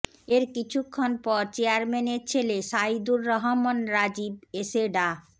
এর কিছুক্ষণ পর চেয়ারম্যানের ছেলে সাইদুর রহমান রাজিব এসে ডা